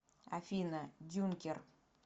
афина дюнкер